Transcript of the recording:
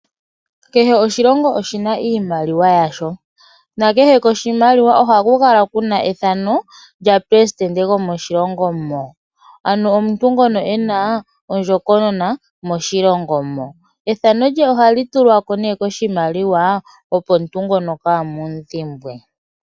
Kehe oshilongo oshina iimaliwa yasho na kehe koshimaliwa ohaku kala kuna ethano lyomuleli go moshilongo mo .Ano omuntu ngono ena ondjokonona moshilongo mo. Ethano ndyono ohali tulwa ne koshimaliwa opo omuntu ngono kamu dhimbwe.